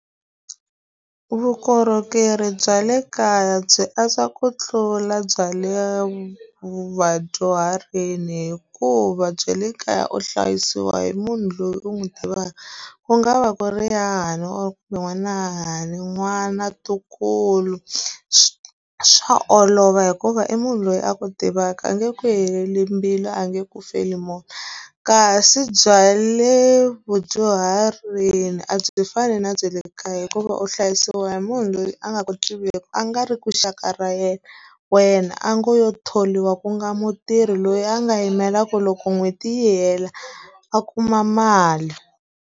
Vukorhokeri bya le kaya byi antswa ku tlula bya le vadyuharini hikuva bya le kaya u hlayisiwa hi munhu loyi u n'wi tivaka, ku nga va ku ri hahani or kumbe n'wana wa hahani, n'wana, ntukulu, swa olova hikuva i munhu loyi a ku tivaka a nge ku heleli mbilu, a nge ku feli mona. Kasi bya le vudyuharini a byi fani na bya le kaya hikuva u hlayisiwa hi munhu loyi a nga ku tiveki, a nga ri ku xaka ra yena wena, a ngo lo thoriwa ku nga mutirhi loyi a nga yimela ku loko n'hweti yi hela a kuma mali.